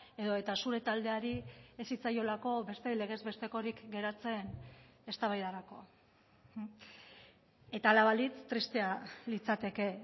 edota zure taldeari ez zitzaiolako beste legez bestekorik geratzen eztabaidarako eta hala balitz tristea litzateke